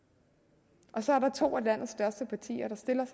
og der så er to af landets største partier der stiller